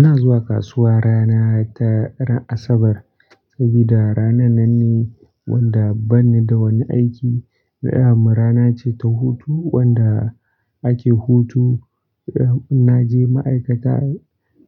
Ina zuwa kasuwa rana ta ran Asabar, saboda ranan nan ne wanda banida wani aiki. Na'am rana ce ta hutu wanda ake hutu. Na je ma'aikata,